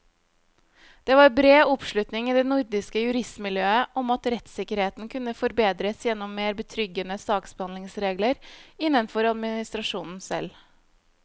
Det var bred oppslutning i det nordiske juristmiljøet om at rettssikkerheten kunne forbedres gjennom mer betryggende saksbehandlingsregler innenfor administrasjonen selv.